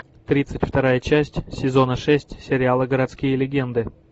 тридцать вторая часть сезона шесть сериала городские легенды